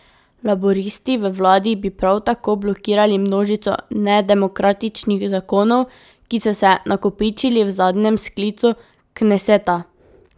Laburisti v vladi bi prav tako blokirali množico nedemokratičnih zakonov, ki so se nakopičili v zadnjem sklicu kneseta.